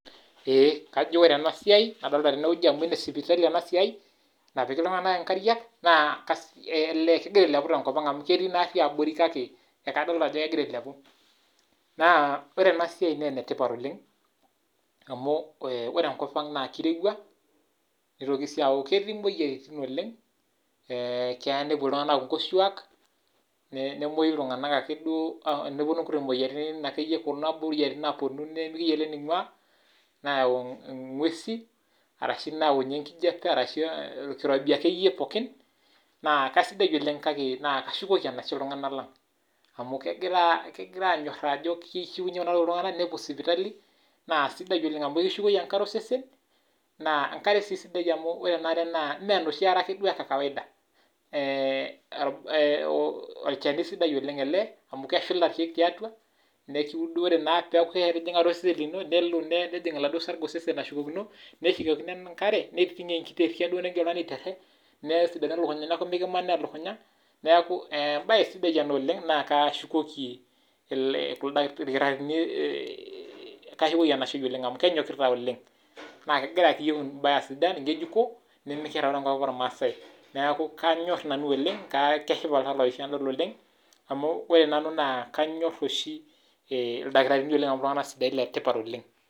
Ore ena siai na te sipitali easi na esiai napiki iltunganak nkariak naa enetipat ooleng. Na kegira ailepu te nkop ang amu ketii apa abori, kake kegira ailepu amu keirowua enkop ooleng na kekumok si moyiaritin na na kaisho sipitali enashe sapuk amu kenyokita.